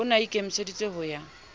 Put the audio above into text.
o ne aikemiseditse ho ya